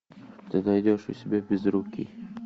ты найдешь у себя безрукий